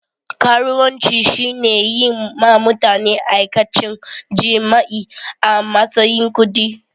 Karuwanci shine yin ma mutane aikacen jima'i a matsayin kudi.